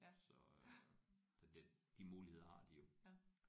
Så så det de muligheder har de jo